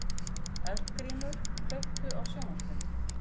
Eldgrímur, kveiktu á sjónvarpinu.